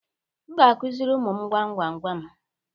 M ga-akụziri ụmụ m gwam gwam gwam.